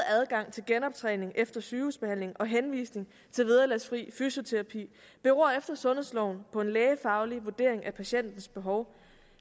adgang til genoptræning efter sygehusbehandling og henvisning til vederlagsfri fysioterapi efter sundhedsloven på en lægefaglig vurdering af patientens behov